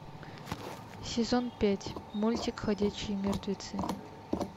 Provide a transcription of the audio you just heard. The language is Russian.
сезон пять мультик ходячие мертвецы